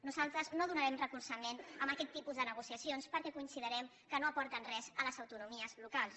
nosaltres no donarem recolzament a aquest tipus de negociacions perquè considerem que no aporten res a les autonomies locals